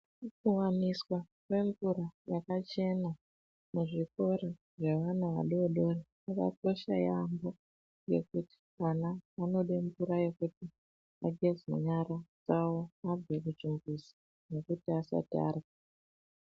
Kuwaniswa kwemvura yakachena muzvikora zvevana vadoodori kwakakosha yampho ngekuti vana vanode mvura yekuti vageze nyara dzawo vabve kuchimbuzi nekuti asati arya.